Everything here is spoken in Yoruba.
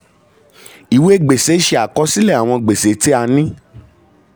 ìwé gbèsè ṣe àkọsílẹ̀ àwọn gbèsè tí a ní.